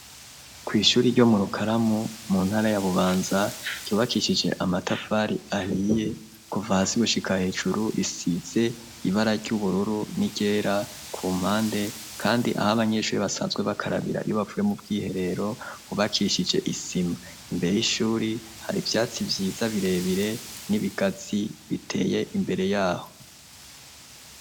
kw'ishure ryo muru karamu mu ntara ya bubanza ryubakishije amatafari ahiye kuva hasi gushika hejuru risize ibara ry'ubururu ni ryera ku mpande kandi aho abanyeshure basanzwe bakarabira iyo bavuye mu bwiherero bwubakishije isima imbere y'ishure hari ivyatsi vyiza birebire n'ibigazi biteye imbere yaho.